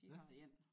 De har én